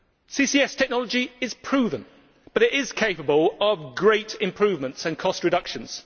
CCS technology is proven, but it is capable of great improvements and cost reductions.